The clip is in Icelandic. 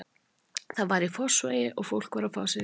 Það var í Fossvogi og fólk var að fá sér í glas.